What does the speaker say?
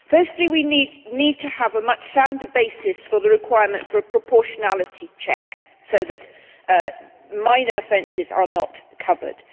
Firstly, we need to have a much sounder basis for the requirement for a proportionality check, so that minor offences are not covered.